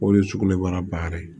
O de ye sugunɛbara ba yɛrɛ ye